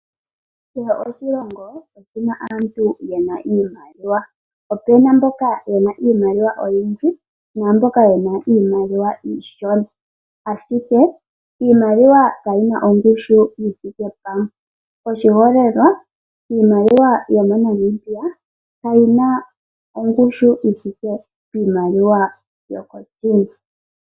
Kehe oshilongo oshina aantu yena iimaliwa opuna mboka yena iimaliwa oyindji namboka yena iimaliwa iishona, ashike iimaliwa kayina ongushu yithike pamwe, oshiholelwa iimaliwa yomoNamibia kayina ongushu yithike piimaliwa yokoChina.